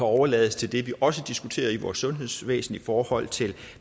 overlades til det vi også diskuterer i vores sundhedsvæsen i forhold til